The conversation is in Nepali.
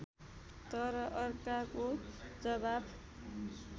तर अर्काको जवाफ